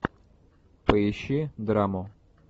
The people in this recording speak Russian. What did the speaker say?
поищи драму